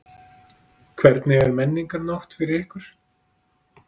Hvernig er Menningarnótt fyrir ykkur?